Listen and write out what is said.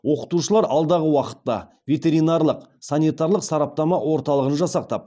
оқытушылар алдағы уақытта ветеринарлық санитарлық сараптама орталығын жасақтап